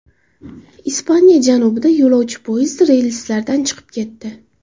Ispaniya janubida yo‘lovchi poyezdi relslardan chiqib ketdi.